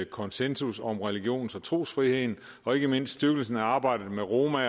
konsensus om religions og trosfriheden og ikke mindst styrkelsen af arbejdet med roma